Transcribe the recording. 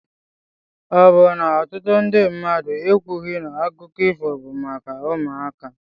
Ọ bụ na ọtụtụ ndị mmadụ ekwughị na akụkọ ifo bụ maka ụmụaka?